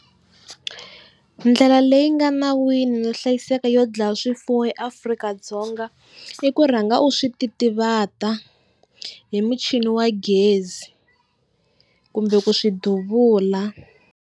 Ndlela leyi nga nawini no hlayiseka yo dlaya swifuwo eAfrika-Dzonga i ku rhanga u swi ti titivata hi muchini wa gezi kumbe ku swi duvula.